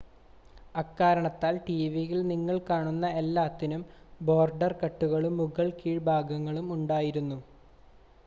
അക്കാരണത്താൽ ടിവിയിൽ നിങ്ങൾ കാണുന്ന എല്ലാത്തിനും ബോർഡർ കട്ടുകളും മുകൾ കീഴ്‌ഭാഗങ്ങളും ഉണ്ടായിരുന്നു